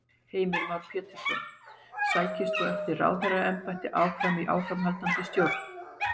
Heimir Már Pétursson: Sækist þú eftir ráðherraembætti áfram í áframhaldandi stjórn?